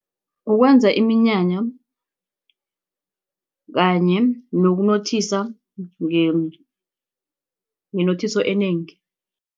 Ukwenza iminyanya kanye nokunothisa ngenothiso enengi.